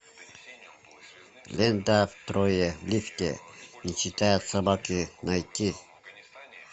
лента трое в лифте не считая собаки найти